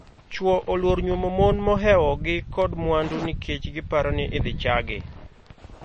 Chwo oluor nyuomo mon mohewogi kod mwandu nikech giparo ni idhi chaagi.